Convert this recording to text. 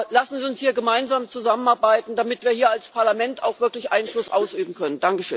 Lassen Sie uns hier gemeinsam zusammenarbeiten, damit wir hier als Parlament auch wirklich Einfluss ausüben können.